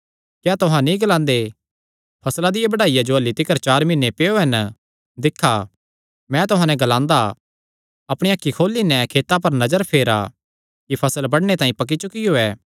क्या तुहां नीं ग्लांदे फसला दिया बड्डाईया जो अह्ल्ली तिकर चार मीहने पैयो हन दिक्खा मैं तुहां नैं ग्लांदा अपणियां अखीं खोली नैं खेतां पर नजर फेरा कि फसल बडणे तांई पक्की चुकियो ऐ